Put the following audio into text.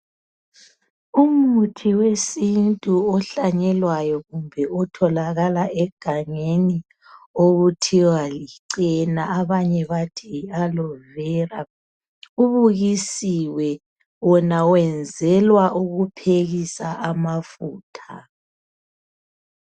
Umuthi wesintu ohlanyelwayo kumbe otholakala egangeni okuthiwa licena abanye bathi Yi aloe Vera. Ubukisiwe ,wona wenzelwa ukuphekisa amafutha.